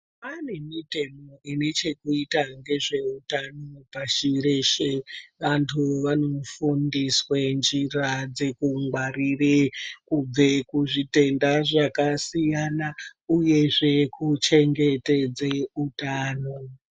Pane mitemo inechekuita ngezveutano pashi reshe vanthu vanofundiswe njira dzekungwarire kubva kuzvitenda zvakasiyana uyezve kuchengetedze utano.